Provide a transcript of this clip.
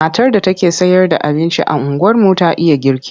Matar da take sayarda abinci a unguwarmu ta iya girki.